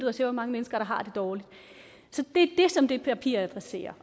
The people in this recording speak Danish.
og ser hvor mange mennesker der har det dårligt så det er det som det papir adresserer